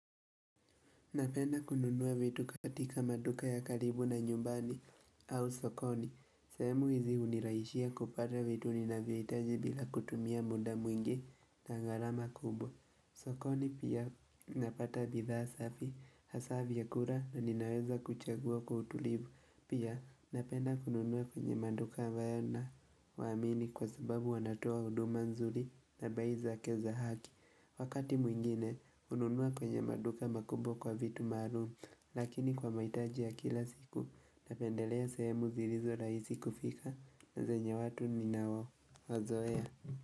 Napenda kununuwa vitu katika maduka ya karibu na nyumbani au sokoni. Sehemu hizi hunirahishia kupata vitu ni nanvyo hitaji bila kutumia muda mwingi na gharama kubwa. Sokoni pia napata bidhaa safi hasa vyakula na ninaweza kuchagua kwa utulivu. Pia napenda kununuwa kwenye maduka ambayo na wa amini kwa sababu wanatoa huduma nzuri na bei zake za haki. Wakati mwingine, hununua kwenye maduka makubwa kwa vitu maalum, lakini kwa mahitaji ya kila siku, napendelea sehemu zilizo raihisi kufika na zenye watu ni nao, wazoea.